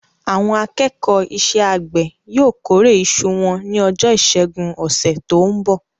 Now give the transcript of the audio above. Àwọn akẹ́kọ̀ọ́ iṣẹ́-àgbẹ̀ yóò kórè iṣu wọn ní ọjọ́ ìṣẹ́gun ọ̀sẹ̀ tó ń bọ̀.